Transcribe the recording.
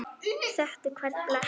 Þekkti hvern blett.